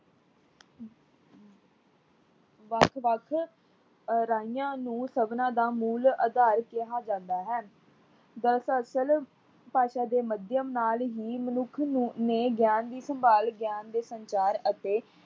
ਵੱਖ-ਵੱਖ ਰਾਹੀਆਂ ਨੂੰ ਸਭਨਾ ਦਾ ਮੂਲ਼ ਅਧਾਰ ਕਿਹਾ ਜਾਂਦਾ ਹੈ। ਦਰਅਸਲ ਭਾਸ਼ਾ ਦੇ ਮਧਿਅਮ ਨਾਲ ਹੀ ਮਨੁੱਖ ਨੂੰ ਨੇ ਗਿਆਨ ਦੀ ਸੰਭਾਲ ਗਿਆਨ ਦੇ ਸੰਚਾਰ ਅਤੇ